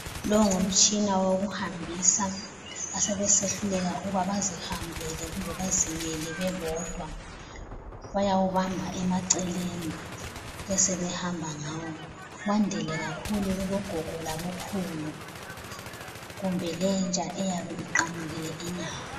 Lo ngumtshina wokuhambisa asebesehluleka ukuba bazihambele kumba bazimele bebodwa. Bayawubamba emaceleni besebehamba ngawo. Kwandile kakhulu kubogogo labokhulu, kumbe lentsha eyabe iqamukile inyawo.